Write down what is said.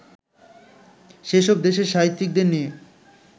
সেসব দেশের সাহিত্যিকদের নিয়ে